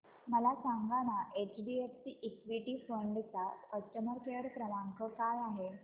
मला सांगाना HDFC equity fund चा कस्टमर केअर क्रमांक काय आहे